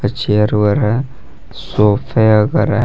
Chair वेयर है सोफे हैं।